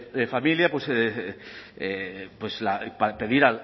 de familia pues pedir